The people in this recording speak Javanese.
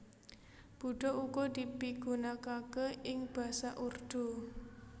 Buddha uga dipigunakaké ing basa Urdu